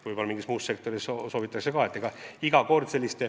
Võib-olla mingis muus sektoris soovitakse ka.